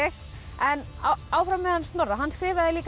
en áfram með hann Snorra hann skrifaði líka